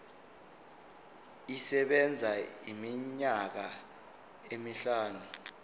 isebenza iminyaka emihlanu